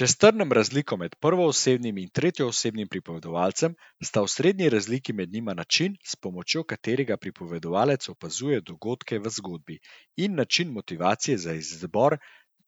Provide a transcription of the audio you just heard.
Če strnem razliko med prvoosebnim in tretjeosebnim pripovedovalcem, sta osrednji razliki med njima način, s pomočjo katerega pripovedovalec opazuje dogodke v zgodbi, in način motivacije za izbor